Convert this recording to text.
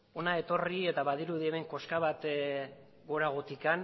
hona etorri eta badirudi hemen koska bat goratik